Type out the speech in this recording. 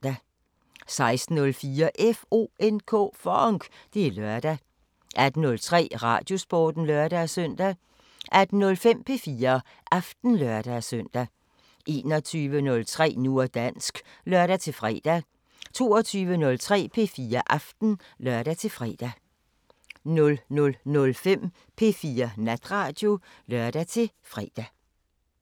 16:04: FONK! Det er lørdag 18:03: Radiosporten (lør-søn) 18:05: P4 Aften (lør-søn) 21:03: Nu og dansk (lør-fre) 22:03: P4 Aften (lør-fre) 00:05: P4 Natradio (lør-fre)